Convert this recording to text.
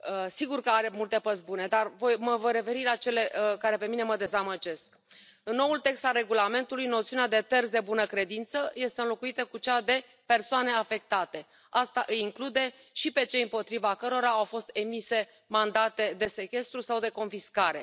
Sigur că are multe părți bune, dar mă voi referi la cele care pe mine mă dezamăgesc. În noul text al regulamentului, noțiunea de terți de bună credință este înlocuită cu cea de persoane afectate asta îi include și pe cei împotriva cărora au fost emise mandate de sechestru sau de confiscare.